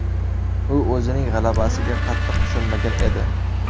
U o‘zining g‘alabasiga qattiq ishonmagan edi.